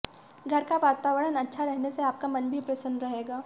घर का वातावरण अच्छा रहने से आपका मन भी प्रसन्न रहेगा